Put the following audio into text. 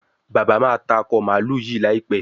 bàbá má tá Akọ mààlúù yí láìpé.